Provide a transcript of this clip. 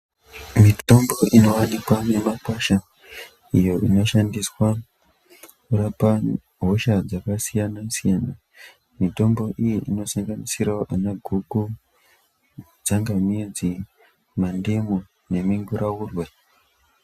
Mitombo inovanikwa mumakwasha iyo inoshandiswa kurapa hosha dzakasiyana-siyana. Mitombo iyi inosanganisiravo ana guku, tsangamidzi, mandimu neminguraurwe.